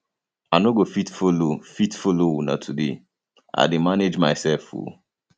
i no go fit follow fit follow una today i dey manage myself um